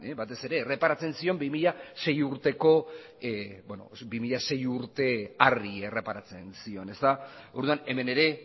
batez ere erreparatzen zion bi mila sei urte horri erreparatzen zion orduan hemen ere